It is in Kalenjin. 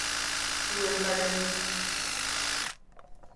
Rue paket